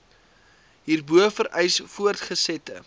hierbo vereis voortgesette